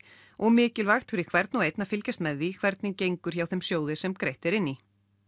og mikilvægt fyrir hvern og einn að fylgjast með því hvernig gengur hjá þeim sjóði sem greitt er inn í